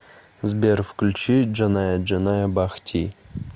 сбер включи джаная джаная бах ти